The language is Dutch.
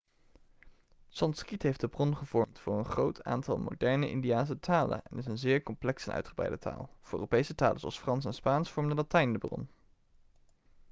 sanskriet heeft de bron gevormd voor een groot aantal moderne indiase talen en is een zeer complexe en uitgebreide taal voor europese talen zoals frans en spaans vormde latijn de bron